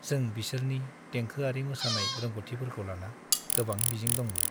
जों बिसोरनि देंखोआरि मोसानाय रोंग'थिफोरखौ लाना गोबां मिजिं दंमोन।